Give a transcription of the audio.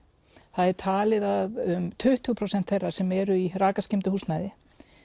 það er talið að um tuttugu prósent þeirra sem eru í rakaskemmdu húsnæði